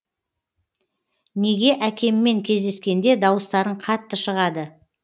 неге әкеммен кездескенде дауыстарың қатты шығады